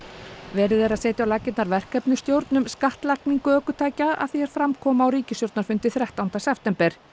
verið er að setja á laggirnar verkefnisstjórn um skattlagningu ökutækja að því er fram kom á ríkisstjórnarfundi þrettánda september